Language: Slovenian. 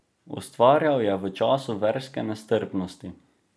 Ustvarjal je v času verske nestrpnosti.